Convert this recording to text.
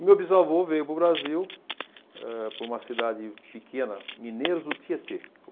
O meu bisavô veio para o Brasil eh para uma cidade pequena, Mineiros do Tietê.